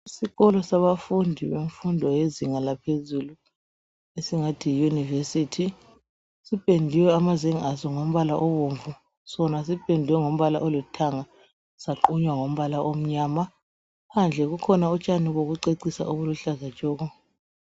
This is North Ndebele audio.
Isikolo sabafundi bemfundo yezinga laphezulu esingathi yi yunivesithi sipendiwe amazenge aso ngombala obomvu sona sipendwe ngombala olithanga saqunywa ngombala omnyama phandle kukhona utshani bokucecisa obuluhlaza tshoko.